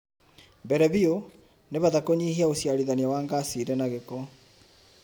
Mbere biũ, nĩ bata kũnyihia ũciarithania wa ngaci irĩ na gĩko.